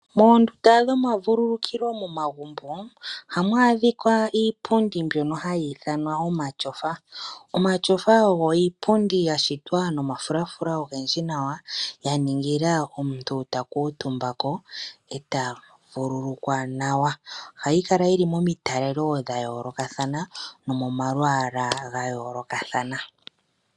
Moondunda dhomavulukilo momagumbo ohamu adhika iipundi mbono hayi ithanwa omatyofa. Omatyofa ogo iipundi gashitwa nomafulafula ogendji nawa yaningila ngele omuntu ta kuutumbako ee ta vululukwa nawa ohayi kala yili momitalelo dhayoolokathana nomomalwaalwa gayoolokathana.